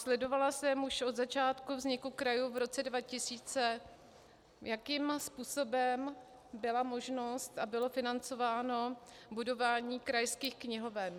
Sledovala jsem již od začátku vzniku krajů v roce 2000, jakým způsobem byla možnost a bylo financováno budování krajských knihoven.